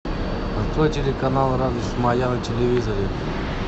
открой телеканал радость моя на телевизоре